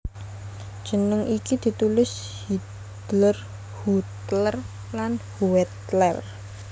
Jeneng iki ditulis Hiedler Huetler lan Huettler